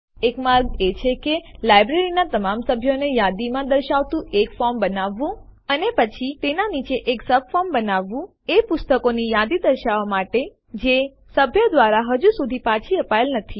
એક માર્ગ એ છે કે લાઈબ્રેરીનાં તમામ સભ્યોને યાદીમાં દર્શાવતું એક ફોર્મ બનાવવું અને પછી તેના નીચે એક સબફોર્મ બનાવવું એ પુસ્તકોની યાદી દર્શાવવાં માટે જે સભ્ય દ્વારા હજુ સુધી પાછી અપાયેલ નથી